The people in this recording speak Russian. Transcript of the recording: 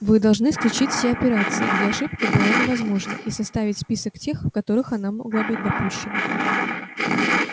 вы должны исключить все операции где ошибка была невозможна и составить список тех в которых она могла быть допущена